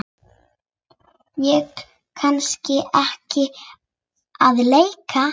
Ég kann ekki að leika.